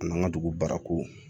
An n'an ka dugu barako